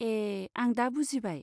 ए, आं दा बुजिबाय।